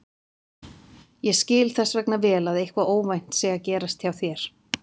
Ég skil þess vegna vel að eitthvað óvænt sé að gerast hjá þér.